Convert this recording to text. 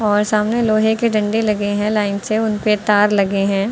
और सामने लोहे के डंडे लगे हैं लाइन से उनपे तार लगे हैं।